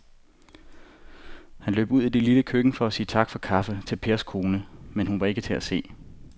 Han løb ud i det lille køkken for at sige tak for kaffe til Pers kone, men hun var ikke til at se.